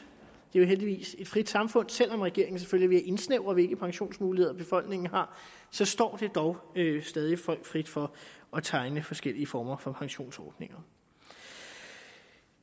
er jo heldigvis et frit samfund selv om regeringen selvfølgelig vil indsnævre hvilke pensionsmuligheder befolkningen har står det dog stadig folk frit for at tegne forskellige former for pensionsordninger